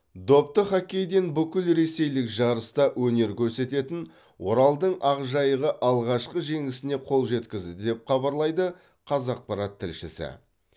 допты хоккейден бүкілресейлік жарыста өнер көрсететін оралдың ақжайығы алғашқы жеңісіне қол жеткізді деп хабарлайды қазақпарат тілшісі